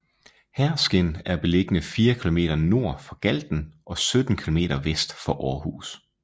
Herskind er beliggende fire kilometer nord for Galten og 17 kilometer vest for Aarhus